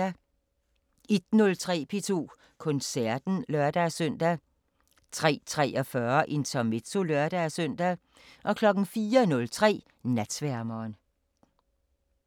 01:03: P2 Koncerten (lør-søn) 03:43: Intermezzo (lør-søn) 04:03: Natsværmeren